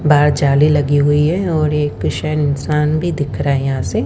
बाहर जाली लगी हुई है और एक शायद इंसान भी दिख रहा है यहां से--